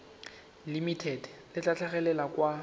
limited le tla tlhagelela kwa